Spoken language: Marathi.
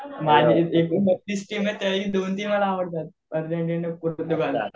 एकूण बत्तीस टीम आहेत त्यातली दोन तीन मला आवडतात. अर्जेंटिना,